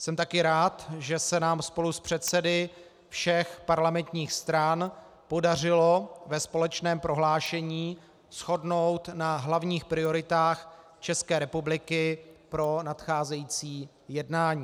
Jsem taky rád, že se nám spolu s předsedy všech parlamentních stran podařilo ve společném prohlášení shodnout na hlavních prioritách České republiky pro nadcházející jednání.